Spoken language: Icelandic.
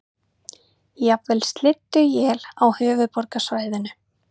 Jafnvel slydduél á höfuðborgarsvæðinu